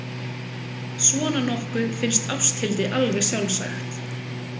Svona nokkuð finnst Ásthildi alveg sjálfsagt.